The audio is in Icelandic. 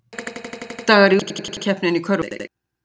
Leikdagar í úrslitakeppninni í körfuknattleik